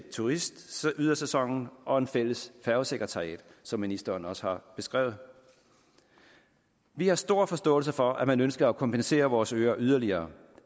turistydersæsonen og et fælles færgesekretariat som ministeren også har beskrevet vi har stor forståelse for at man ønsker at kompensere vores øer yderligere